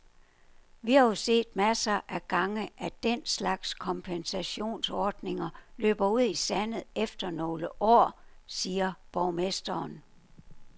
Vi har jo set masser af gange, at den slags kompensationsordninger løber ud i sandet efter nogle år, siger borgmesteren.